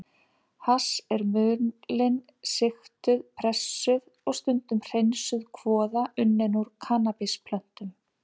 Hass er mulin, sigtuð, pressuð og stundum hreinsuð kvoða unnin úr kannabisplöntum.